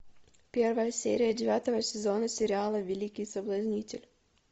первая серия девятого сезона сериала великий соблазнитель